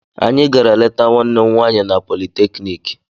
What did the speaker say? Anyị gara leta nwanne m nwaanyị na politeknik